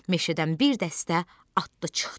meşədən bir dəstə atlı çıxdı.